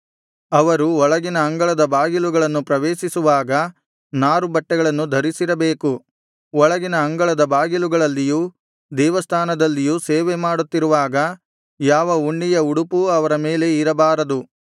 ಅವರು ಒಳಗಿನ ಅಂಗಳದ ಬಾಗಿಲುಗಳನ್ನು ಪ್ರವೇಶಿಸುವಾಗ ನಾರುಬಟ್ಟೆಗಳನ್ನು ಧರಿಸಿರಬೇಕು ಒಳಗಿನ ಅಂಗಳದ ಬಾಗಿಲುಗಳಲ್ಲಿಯೂ ದೇವಸ್ಥಾನದಲ್ಲಿಯೂ ಸೇವೆಮಾಡುತ್ತಿರುವಾಗ ಯಾವ ಉಣ್ಣೆಯ ಉಡುಪೂ ಅವರ ಮೇಲೆ ಇರಬಾರದು